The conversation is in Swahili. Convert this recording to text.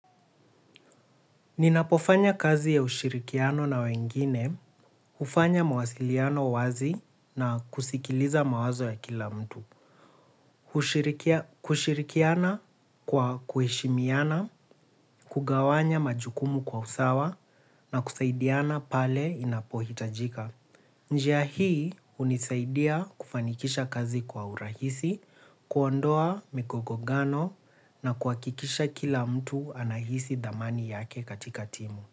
Ninapofanya kazi ya ushirikiano na wengine, hufanya mawasiliano wazi na kusikiliza mawazo ya kila mtu. Kushirikiana kwa kuheshimiana, kugawanya majukumu kwa usawa na kusaidiana pale inapohitajika. Njia hii hunisaidia kufanikisha kazi kwa urahisi, kuondoa migongano na kuhakikisha kila mtu anahisi thamani yake katika timu.